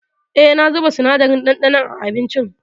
Eh, na zuba sinadarin ɗanɗanon a abincin.